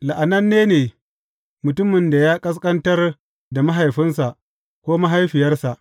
La’ananne ne mutumin da ya ƙasƙantar da mahaifinsa ko mahaifiyarsa.